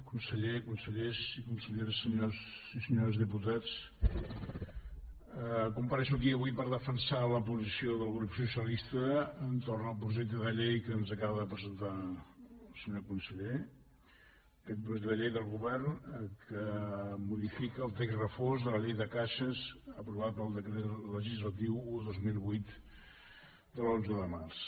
conseller consellers i conselleres senyors i senyores diputats comparec aquí avui per defensar la posició del grup socialista entorn al projecte de llei que ens acaba de presentar el senyor conseller aquest projecte de llei del govern que modifica el text refós de la llei de caixes aprovat pel decret legislatiu un dos mil vuit de l’onze de març